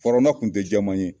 Firawuna tun tɛ jɛman ye